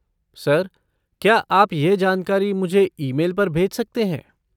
Sir, क्या आप यह जानकारी मुझे ईमेल पर भेज सकते हैं?